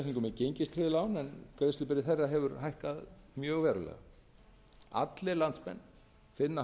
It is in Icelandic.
gengistryggð lán en greiðslubyrði þeirra hefur hækkað mjög verulega allir landsmenn finna